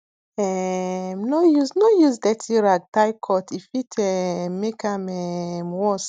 um no use no use dirty rag tie cut e fit um make am um worse